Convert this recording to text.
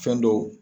Fɛn dɔw